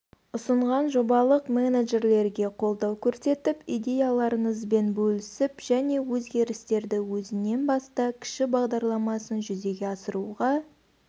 ұсынған жобалық менеджерлерге қолдау көрсетіп идеяларыңызбен бөлісіп және өзгерістерді өзіңнен баста кіші бағдарламасын жүзеге асыруға